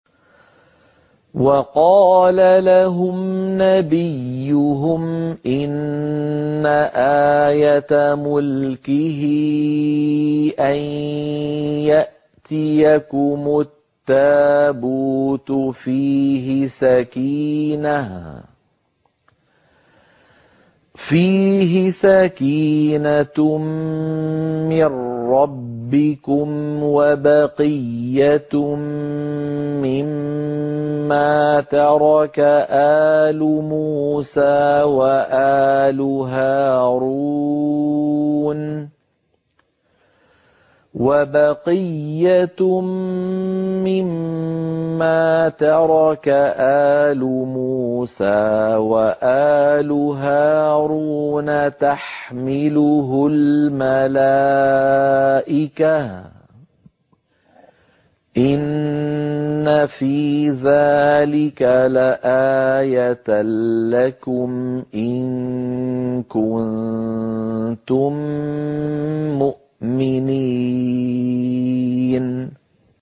وَقَالَ لَهُمْ نَبِيُّهُمْ إِنَّ آيَةَ مُلْكِهِ أَن يَأْتِيَكُمُ التَّابُوتُ فِيهِ سَكِينَةٌ مِّن رَّبِّكُمْ وَبَقِيَّةٌ مِّمَّا تَرَكَ آلُ مُوسَىٰ وَآلُ هَارُونَ تَحْمِلُهُ الْمَلَائِكَةُ ۚ إِنَّ فِي ذَٰلِكَ لَآيَةً لَّكُمْ إِن كُنتُم مُّؤْمِنِينَ